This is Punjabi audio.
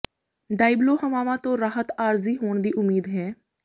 ਡਾਇਬਲੋ ਹਵਾਵਾਂ ਤੋਂ ਰਾਹਤ ਆਰਜ਼ੀ ਹੋਣ ਦੀ ਉਮੀਦ ਹੈ